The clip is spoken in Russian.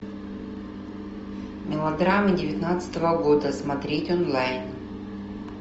мелодрамы девятнадцатого года смотреть онлайн